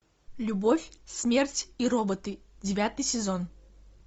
любовь смерть и роботы девятый сезон